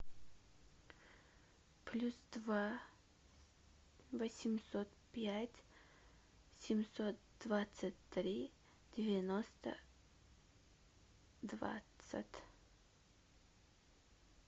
плюс два восемьсот пять семьсот двадцать три девяносто двадцать